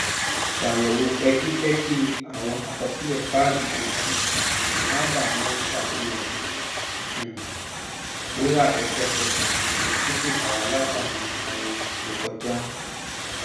ṣàyẹwò pẹkipẹki àwọn àkọsílẹ káàdì gbèsè sábà maa ń ṣàfihàn um rírà lẹsẹkẹsẹ tí kò dara látàrí àwọn oṣù tó kọjá